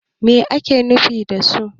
me ake nufi da su?